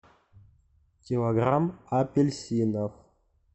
килограмм апельсинов